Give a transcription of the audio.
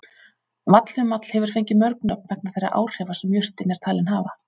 Vallhumall hefur fengið mörg nöfn vegna þeirra áhrifa sem jurtin er talin hafa.